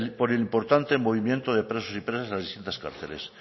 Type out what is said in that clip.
por el importante movimiento de presos y presas a distintas cárceles